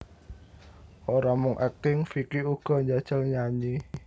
Ora mung akting Vicky uga njajal nyanyi